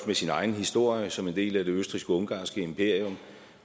med sin egen historie som en del af det østrig ungarske imperium